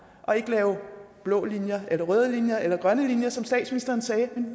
og ikke lave blå linjer røde linjer eller grønne linjer som statsministeren sagde men